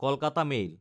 Kolkata mail